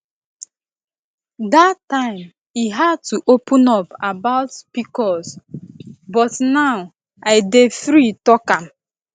dat time e hard to open up about pcos but now i dey free talk am